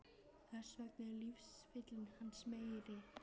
Þess vegna er lífsfylling hans meiri.